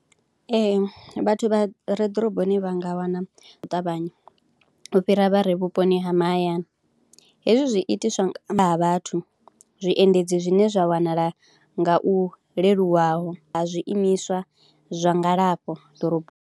Ee vhathu vha re ḓoroboni vha nga wana u ṱavhanya u fhira vha re vhuponi ha mahayani, hezwi zwi itiswa vhathu, zwiendedzi zwine zwa wanala nga u leluwaho a zwiimiswa zwa ngalafho ḓoroboni.